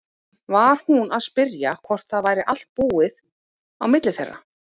Var hún að spyrja hvort það væri allt búið á milli þeirra?